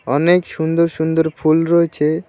অনেক সুন্দর সুন্দর ফুল রয়েছে।